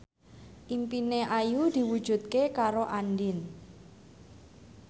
impine Ayu diwujudke karo Andien